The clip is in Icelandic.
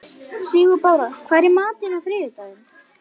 Sigurbára, hvað er í matinn á þriðjudaginn?